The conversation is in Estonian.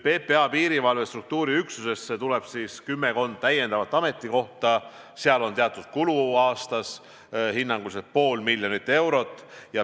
PPA piirivalve struktuuriüksusesse tuleb kümmekond täiendavat ametikohta, mis tähendab teatud kulu aastas: hinnanguliselt pool miljonit eurot.